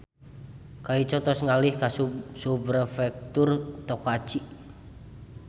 Kaico tos ngalih ka Subprefektur Tokachi